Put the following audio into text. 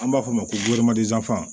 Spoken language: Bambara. An b'a f'o ma ko